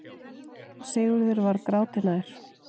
Sigurður var gráti nær.